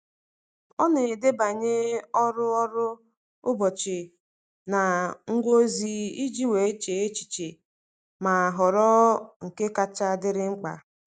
Ọ na-edebanye ọrụ ọrụ ụbọchị na ngwa ozi iji wee chee echiche ma họrọ nke kacha dịrị mkpa.